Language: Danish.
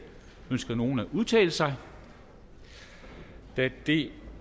ønsker nogen at udtale sig da det